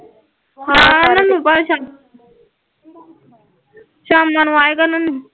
ਹਾਂ ਉਹਨਾ ਨੂੰ ਸ਼ਾਮਾਂ ਨੂੰ ਆਏਗਾ ਉਹਨਾ ਨੂੰ